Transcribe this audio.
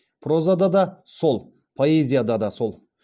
прозада да сол поэзияда да сол